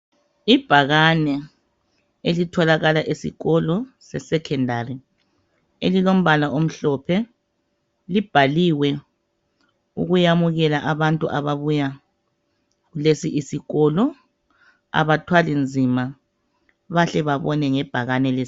Ibhakane elitholakala esikolo sesekhendari, lelilombala omhlophe. Libhaliwe ukwamukela abantu ababuya kulesi isikolo. Abathwali nzima, bahle bebone ngebhakane lesikolo.